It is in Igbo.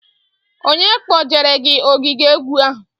Onye kpojere gị ogige egwu ahụ?